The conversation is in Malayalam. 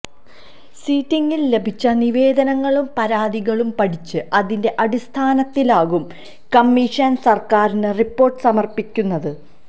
സിറ്റിംഗിങ്ങില് ലഭിച്ച നിവേദനങ്ങളും പരാതികളും പഠിച്ച് അതിന്റെ അടിസ്ഥാനത്തിലാകും കമ്മീഷന് സര്ക്കാരിന് റിപ്പോര്ട്ട് സമര്പ്പിക്കുന്നത്